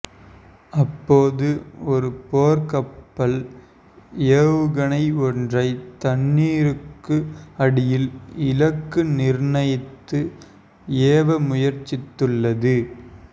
அப்போது ஒரு போர்க்கப்பல் ஏவுகணை ஒன்றை தண்ணீருக்கு அடியில் இலக்கு நிர்ணயித்து ஏவ முயற்சித்துள்ளது